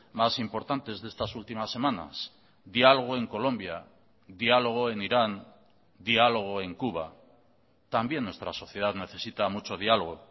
más importantes de estas últimas semanas diálogo en colombia diálogo en irán diálogo en cuba también nuestra sociedad necesita mucho diálogo